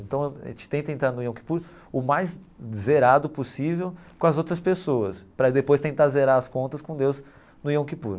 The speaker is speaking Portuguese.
Então a gente tenta entrar no Yom Kippur o mais zerado possível com as outras pessoas, para depois tentar zerar as contas com Deus no Yom Kippur.